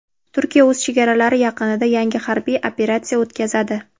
Turkiya o‘z chegaralari yaqinida yangi harbiy operatsiya o‘tkazadi.